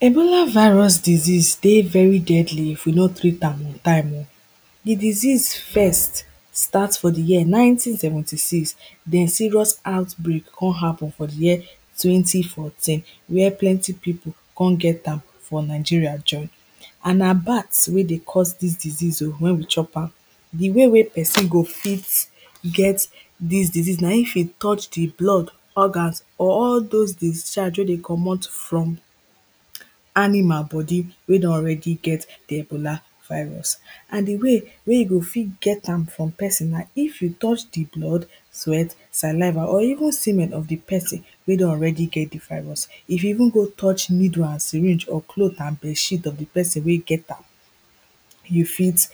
Ebola virus disease dey very deadly if you no treat am on time oh Di disease first start for di year nineteen seventy six then serious outbreak come happen for di year twenty fourteen where plenty people come get am for Nigeria join and na bat wey dey cause dis disease oh wen we chop am Di way wey person go fit get dis disease na if e touch di blood organs or all those discharge wey dey comot from animal body wey don already get di ebola virus and di way wey you go fit get am from person na if you touch di blood sweat, saliva or even semen of di person wey don already get virus if you even go touch needle and syringe or clothes and bedsheet of person wey get am you fit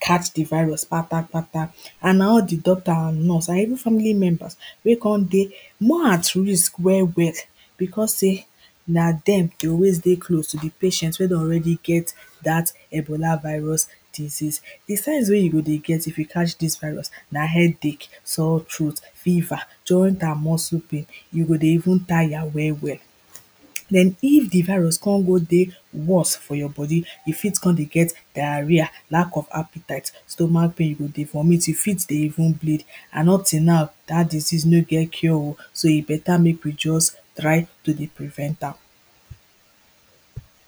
catch di virus kpata kpata and na all di doctor and nurse and even family members wey come dey more at risk well well becos sey na dem dey always dey close to di patient wey don already get dat ebola virus disease. Di signs wey you go dey get if you catch dis virus na headache, sore throat fever, joint and muscle pain, you go dey even tire well well But if di virus come go dey worse for your body, you fit come dey get diarrhoea lack of appetite, stomach pain, you go dey vomit, you fit dey even bleed and up till now dat disease no get cure oh, so e better make we just try to dey prevent am